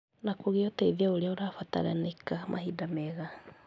na kũgĩa ũteithio ũrĩa ũrabataranĩka mahinda mega